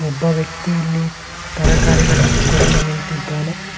ಒಬ್ಬ ವ್ಯಕ್ತಿಯಲ್ಲಿ ತರಕಾರಿಗಳನ್ನು ಕೊಡಲು ನಿಂತಿದ್ದಾನೆ.